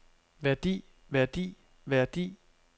værdi værdi værdi